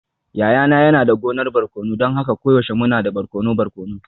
Yayana yana da gonar barkono don haka koyaushe muna da barkono barkono.